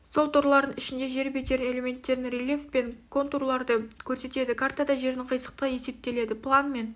сол торлардың ішінде жер бедерінің элементтерін рельеф пен контурларды көрсетеді картада жердің қисықтығы есептеледі план мен